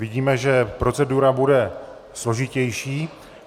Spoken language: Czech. Vidíme, že procedura bude složitější.